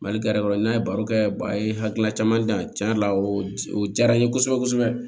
Mali gɛrɛ kɔnɔ n'a ye baro kɛ ba ye hakilina caman di yan tiɲɛ yɛrɛ la o diyara n ye kosɛbɛ kosɛbɛ